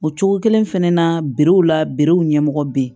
O cogo kelen fɛnɛ na la w ɲɛmɔgɔ be yen